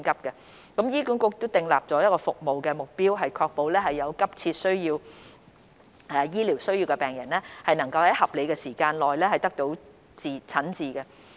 醫管局已訂立服務目標，以確保有急切醫療需要的病人能在合理的時間內得到診治。